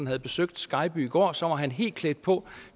havde besøgt skejby i går så var helt klædt på